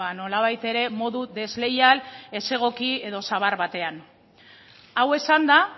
nolabait ere modu desleial ez egoki edo zabar batean hau esanda